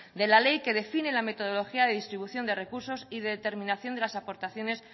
de la ley que define la metodología de distribución de recursos y de determinación de las aportaciones